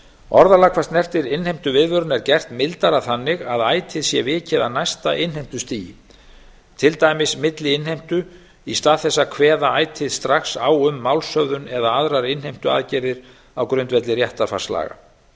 orðalag hvað snertir innheimtuviðvörun er gert mildara þannig að ætíð sé vikið að næsta innheimtustigi til dæmis milliinnheimtu í stað þess að kveða ætíð strax á um málshöfðun eða aðrar innheimtuaðgerðir á grundvelli réttarfarslaga